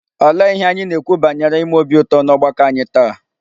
Olee ihe anyị na-ekwu banyere ime obi ụtọ n'ọgbakọ anyị taa?